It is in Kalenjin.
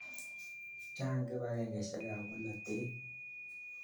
Chang' kipakengeisyek ap polotet